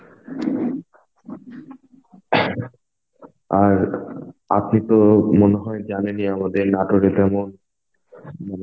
আর আপনি তো মনে হয় জানেনই আমাদের নাটোরে তেমন